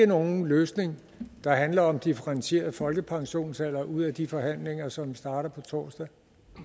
nogen løsning der handler om differentieret folkepensionsalder ud af de forhandlinger som starter på torsdag